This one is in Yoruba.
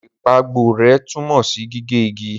Ìpàgborẹ́ tunmo si gige igi.